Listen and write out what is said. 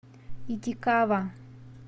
итикава